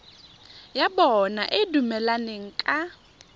ya bona e dumelaneng ka